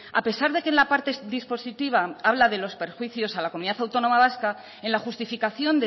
a pesar de que en la parte dispositiva habla de los perjuicios a la comunidad autónoma vasca en la justificación